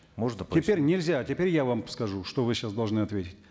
можно теперь нельзя теперь я вам скажу что вы сейчас должны ответить